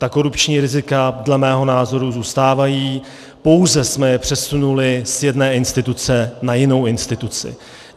Ta korupční rizika dle mého názoru zůstávají, pouze jsme je přesunuli z jedné instituce na jinou instituci.